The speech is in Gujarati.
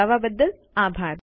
જોડાવા બદ્દલ આભાર